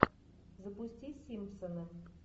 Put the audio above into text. запусти симпсоны